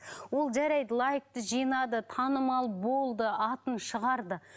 ол жарайды лайкты жинады танымал болды атын шығарды